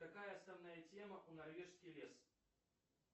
какая основная тема у норвежский лес